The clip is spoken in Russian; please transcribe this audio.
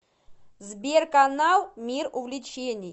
сбер канал мир увлечений